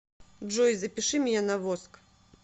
джой запиши меня на воск